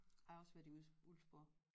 Jeg har også været i Ulvsborg